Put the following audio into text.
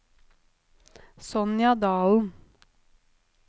Sonja Dahlen